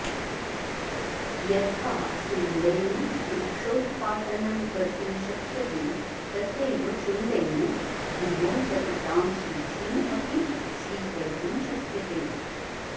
यथा शुण्डेन वृक्षोत्पाटनं कर्तुं शक्यते तथैव शुण्डेन भूमौ पतितां सूचीं अपि स्वीकर्तुं शक्यते